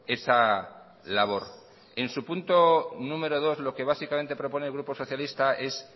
esa labor en su punto número dos lo que básicamente propone el grupo socialista es